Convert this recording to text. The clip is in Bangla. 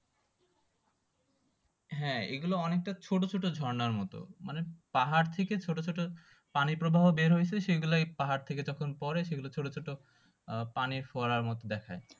হ্যাঁ এগুলো অনেকটা ছোটো ছোটো ঝর্ণার মতো মানে পাহাড় থেকে ছোট ছোট পানি প্রবাহ বের হইছে সেই গুলাই পাহাড় থেকে যখন পরে সেগুলো ছোটো ছোটো আহ পানির ফুয়ারার মতো দেখাই